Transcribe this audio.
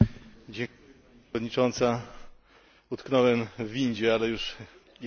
Pani Przewodnicząca! Utknąłem w windzie, ale już jestem.